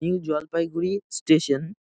New Jalpaiguri station.